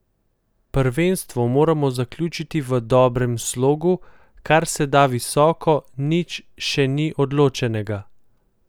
Prvenstvo moramo zaključiti v dobrem slogu, kar se da visoko, nič še ni odločenega.